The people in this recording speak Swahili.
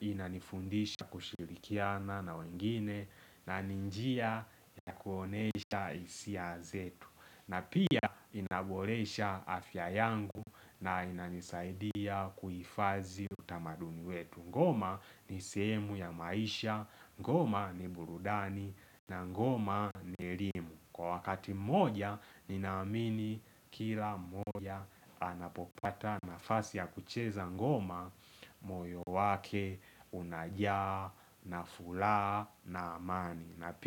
inanifundisha kushirikiana na wengine na ninjia ya kuonesha hisia zetu na pia inaboresha afya yangu na inanisaidia kuifadhi utamaduni wetu Ngoma ni seemu ya maisha, ngoma ni burudani na ngoma ni elimu Kwa wakati moja, ninamini kila moja anapopata nafasi ya kucheza ngoma moyo wake unajaa na furaha na amani.